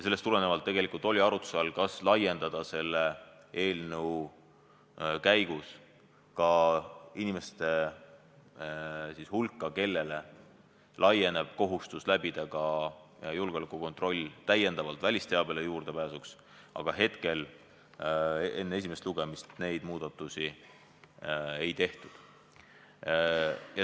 Seetõttu oli tegelikult oli arutluse all, kas laiendada selle eelnõu käigus ka inimeste hulka, kellel on kohustus läbida julgeolekukontroll välisteabele juurdepääsuks, aga hetkel, enne esimest lugemist, neid muudatusi ei tehtud.